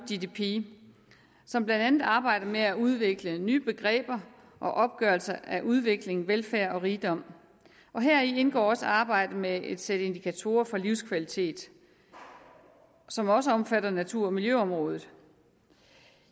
gdp som blandt andet arbejder med at udvikle nye begreber og opgørelser af udvikling velfærd og rigdom heri indgår også arbejdet med et sæt indikatorer for livskvalitet som også omfatter natur og miljøområdet